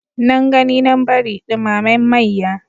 Nan gani nan bari ɗumamen mayya.